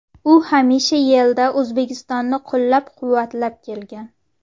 U hamisha YeIda O‘zbekistonni qo‘llab-quvvatlab kelgan.